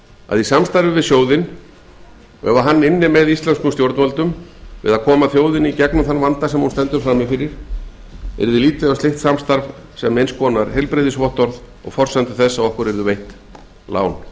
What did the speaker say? að kæmi sjóðurinn hingað og ynni með íslenskum stjórnvöldum að koma þjóðinni í gegnum þann vanda sem hún stendur frammi yrði litið á slíkt samstarf sem nauðsynlegt heilbrigðisvottorð og forsendu þess að okkur yrðu veitt lán